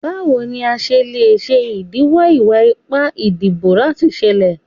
Bawo ni a ṣe le ṣe idiwọ iwa-ipa idibo lati ṣẹlẹ?